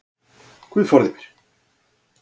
Guð forði mér.